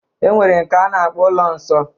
E nwere nke a na-akpọ ụlọ nsọ.